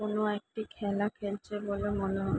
কোনো একটি খেলা খেলছে বলে মনে হ --